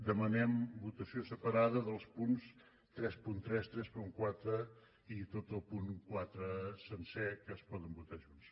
demanem votació separada dels punts trenta tres trenta quatre i tot el punt quatre sencer que es poden votar junts